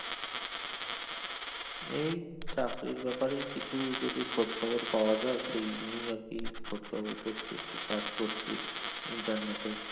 এই চাকরির ব্যাপারেই কিছু যদি খোঁজ খবর পাওয়া যায় সেই নিয়েই আর কি খোঁজ খবর করছি একটু search করছি internet এ